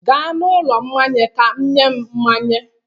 Gaa n'ụlọ mmanya ka nye m mmanya.